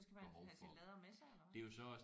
Men så skal man have sin lader med sig eller hvad?